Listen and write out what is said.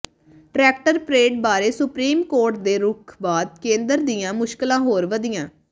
tractor parade ਬਾਰੇ supreme court ਦੇ ਰੁਖ਼ ਬਾਅਦ ਕੇਂਦਰ ਦੀਆਂ ਮੁਸ਼ਕਲਾਂ ਹੋਰ ਵਧੀਆਂ